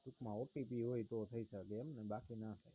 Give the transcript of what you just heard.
ટૂંક માં OTP જોય તો થાય શકે મ ને બાકી ના